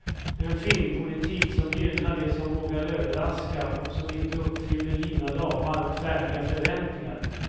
En filmpolitik som gynnar det som vågar överraska och som inte uppfyller givna ramar och färdiga förväntningar.